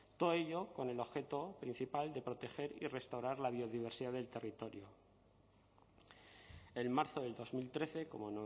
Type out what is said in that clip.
todo ello con el objeto principal de proteger y restaurar la biodiversidad del territorio en marzo del dos mil trece como